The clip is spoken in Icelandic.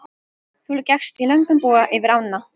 Þú gekkst í löngum boga yfir ána.